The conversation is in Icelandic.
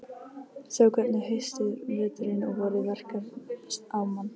Sjá hvernig haustið, veturinn og vorið verkar á mann.